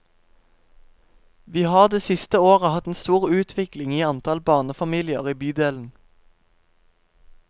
Vi har de siste årene hatt en stor utvikling i antallet barnefamilier i bydelen.